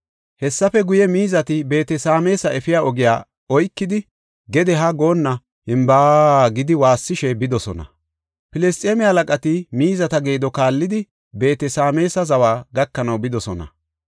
Hessafe guye, miizati Beet-Sameesa efiya ogiya oykidi gede haa goonna “Himbaa” gidi waassishe bidosona. Filisxeeme halaqati miizata geedo kaallidi, Beet-Sameesa zawa gakanaw bidosona.